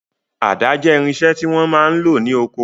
Àda jẹ́ irinṣẹ́ tí wọ́n máa ń lò lóko.